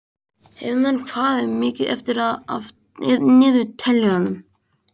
Heiðmann, hvað er mikið eftir af niðurteljaranum?